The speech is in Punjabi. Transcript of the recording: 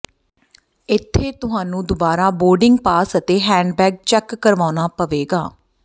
ਇੱਥੇ ਤੁਹਾਨੂੰ ਦੁਬਾਰਾ ਬੋਰਡਿੰਗ ਪਾਸ ਅਤੇ ਹੈਂਡਬੈਗ ਚੈੱਕ ਕਰਵਾਉਣਾ ਪਵੇਗਾ